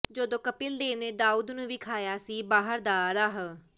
ਜਦੋਂ ਕਪਿਲ ਦੇਵ ਨੇ ਦਾਊਦ ਨੂੰ ਵਿਖਾਇਆ ਸੀ ਬਾਹਰ ਦਾ ਰਾਹ